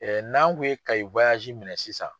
n'an kun ye Kayi minɛ sisan.